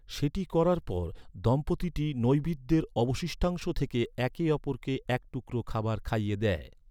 সেটি করার পর, দম্পতিটি নৈবেদ্যের অবশিষ্টাংশ থেকে একে অপরকে এক টুকরো খাবার খাইয়ে দেয়।